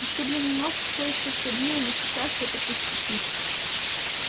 ушибленный нос всё ещё саднил но сейчас это пустяки